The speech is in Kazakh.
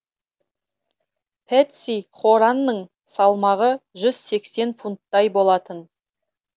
пэтси хоранның салмағы жүз сексен фунттай болатын